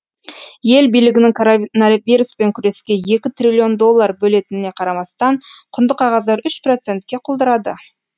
ел билігінің коронавируспен күреске екі триллион доллар бөлетініне қарамастан құнды қағаздар үш процентке құлдырады